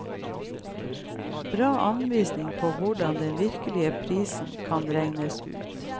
Bra anvisning på hvordan den virkelige prisen kan regnes ut.